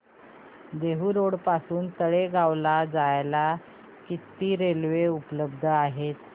Dehu road पासून तळेगाव ला जायला किती रेल्वे उपलब्ध आहेत